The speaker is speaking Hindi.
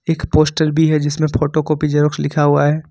एक पोस्टर भी है जिसमें फोटोकॉपी जेरॉक्स लिखा हुआ है।